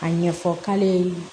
A ɲɛfɔ k'ale ye